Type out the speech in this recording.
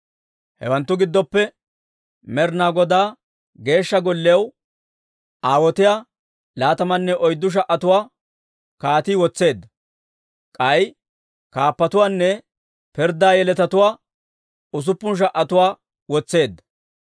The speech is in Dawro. Hawanttu giddoppe Med'inaa Godaa Geeshsha Golliyaw aawotiyaa laatamanne oyddu sha"atuwaa kaatii wotseedda. K'ay kaappatuwaanne pirddaa yeletatuwaa usuppun sha"atuwaa wotseedda.